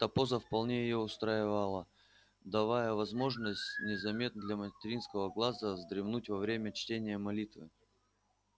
эта поза вполне её устраивала давая возможность незаметно для материнского глаза вздремнуть во время чтения молитвы